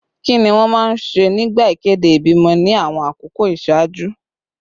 Kí ni wọ́n máa ń ṣe nígbà ìkéde ìbímọ ní àwọn àkókò ìṣáájú?